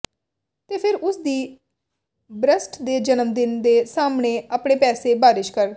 ਤੇ ਫਿਰ ਉਸ ਦੀ ਬਰੱਸਟ ਦੇ ਜਨਮ ਦਿਨ ਦੇ ਸਾਹਮਣੇ ਅਤੇ ਪੈਸੇ ਬਾਰਿਸ਼ ਕਰ